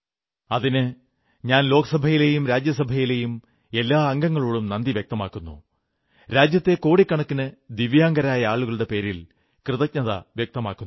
അതിന് ഞാൻ ലോക്സഭയിലെയും രാജ്യസഭയിലെയും എല്ലാ അംഗങ്ങളോടും നന്ദി വ്യക്തമാക്കുന്നു രാജ്യത്തെ കോടിക്കണക്കിന് ദിവ്യാംഗരായ ആളുകളുടെ പേരിൽ കൃതജ്ഞത വ്യക്തമാക്കുന്നു